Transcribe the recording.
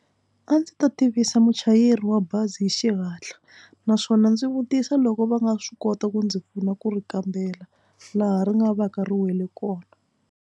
A ndzi ta tivisa muchayeri wa bazi hi xihatla naswona ndzi vutisa loko va nga swi kota ku ndzi pfuna ku ri kambela laha ri nga va ka ri wele kona.